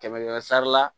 Kɛmɛ kɛmɛ sara la